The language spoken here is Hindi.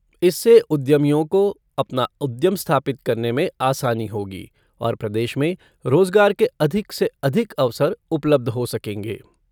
इससे उद्यमियों को अपना उद्यम स्थापित करने में आसानी होगी और प्रदेश में रोजगार के अधिक से अधिक अवसर उपलबध हो सकेंगे।